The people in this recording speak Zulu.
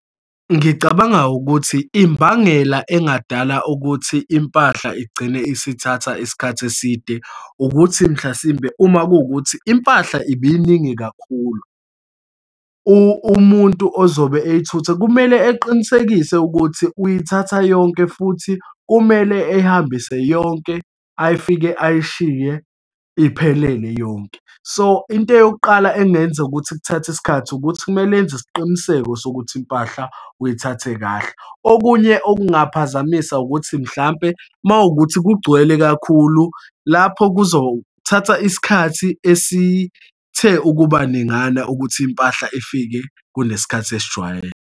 Ngicabanga ukuthi imbangela engadala ukuthi impahla igcine isithatha isikhathi eside, ukuthi mhlasimbe, uma kuwukuthi impahla ibeyiningi kakhulu. Umuntu ozobe eyithutha kumele eqinisekise ukuthi uyithatha yonke, futhi kumele ey'hambise yonke, ayifike ayishiye iphelele yonke. So, into eyokuqala engenza ukuthi kuthathe isikhathi, ukuthi kumele enze isiqiniseko sokuthi impahla uyithathe kahle. Okunye okungaphazamisa ukuthi, mhlampe uma wukuthi kugcwele kakhulu lapho, kuzothatha isikhathi esithe ukuba ningana ukuthi impahla ifike kunesikhathi esijwayele.